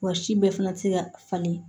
Wa si bɛɛ fana tɛ se ka falen